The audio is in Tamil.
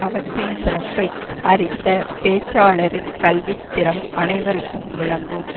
அவற்றின் சிறப்பை அறிந்த பேச்சாளரின் கல்வித்திறம் அனைவருக்கும் விளங்கும்